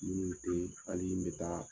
Minnu bɛ to ani minnu bɛ taa.